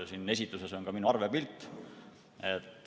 Siin esitluses on ka minu arve pilt.